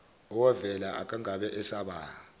owavela akangabe esaba